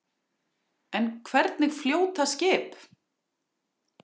En hvernig fljóta skip?